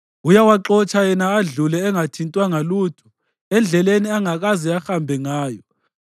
Uyawaxotsha yena adlule engathintwanga lutho, endleleni angakaze ahambe ngayo.